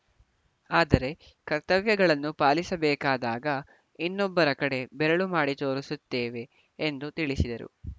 ಆದರೆ ಕರ್ತವ್ಯಗಳನ್ನು ಪಾಲಿಸಬೇಕಾದಾಗ ಇನ್ನೊಬ್ಬರ ಕಡೆ ಬೆರಳು ಮಾಡಿ ತೋರಿಸುತ್ತೇವೆ ಎಂದು ತಿಳಿಸಿದರು